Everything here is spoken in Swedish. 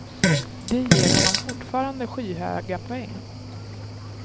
De ger honom fortfarande skyhöga poäng.